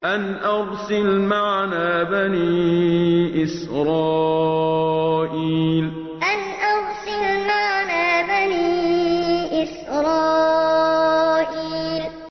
أَنْ أَرْسِلْ مَعَنَا بَنِي إِسْرَائِيلَ أَنْ أَرْسِلْ مَعَنَا بَنِي إِسْرَائِيلَ